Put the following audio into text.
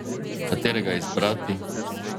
Katerega izbrati?